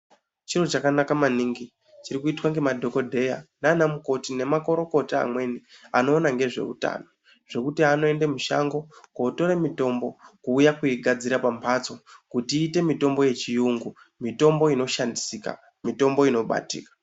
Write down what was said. Chiro chakanaka maningi chiri kuitwa ngemadhokodheya nanamukoti nemakorokota amweni anoona ngezveutano zvekuti anooende mushango kotore mitombo kuuya kuigadzira pamphatso kuti iite mitombo yechiyungu mitombo inoshandisika mitombo unobatika.